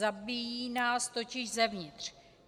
Zabíjí nás totiž zevnitř.